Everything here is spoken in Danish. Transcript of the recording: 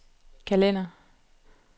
kalender